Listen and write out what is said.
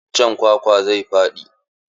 Iccen kwakwan zai faɗi.